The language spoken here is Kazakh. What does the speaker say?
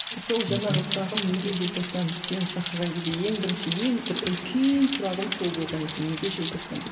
сол жаңағы сұрағым неге желтоқсан сені шақырған кезде ең бірінші ең бір үлкен сұрағым сол болған еді неге желтоқсан деп